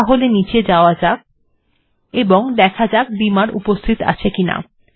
তাহলে নীচে যাওয়া যাক এবং দেখা যাক বিমার্ উপস্থিত আছে কিনা